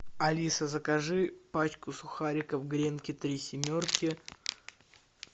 алиса закажи пачку сухариков гренки три семерки